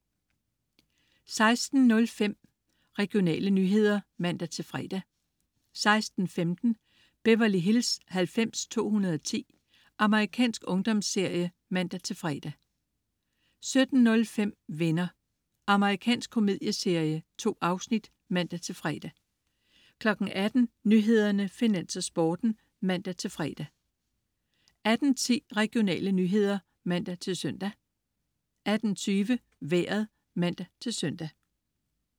16.05 Regionale nyheder (man-fre) 16.15 Beverly Hills 90210. Amerikansk ungdomsserie (man-fre) 17.05 Venner. Amerikansk komedieserie. 2 afsnit (man-fre) 18.00 Nyhederne, Finans og Sporten (man-fre) 18.10 Regionale nyheder (man-søn) 18.20 Vejret (man-søn)